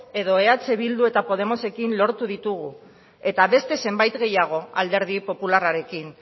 edo eh bildu eta podemosekin lortu ditugu eta beste zenbait gehiago alderdi popularrarekin